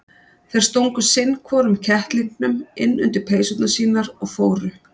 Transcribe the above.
Þeir stungu sinn hvorum kettlingnum inn undir peysurnar sínar og fóru.